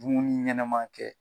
Dumuni ɲɛnaman kɛ.